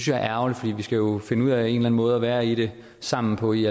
jeg er ærgerligt for vi skal jo finde ud af en eller anden måde at være i det sammen på i